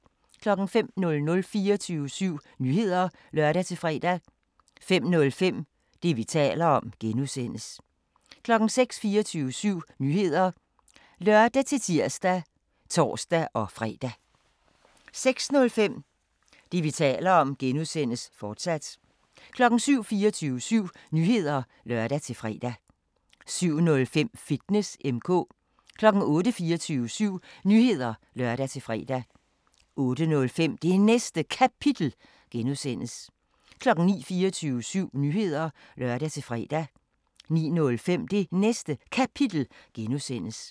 05:00: 24syv Nyheder (lør-fre) 05:05: Det, vi taler om (G) 06:00: 24syv Nyheder (lør-tir og tor-fre) 06:05: Det, vi taler om (G), fortsat 07:00: 24syv Nyheder (lør-fre) 07:05: Fitness M/K 08:00: 24syv Nyheder (lør-fre) 08:05: Det Næste Kapitel (G) 09:00: 24syv Nyheder (lør-fre) 09:05: Det Næste Kapitel (G)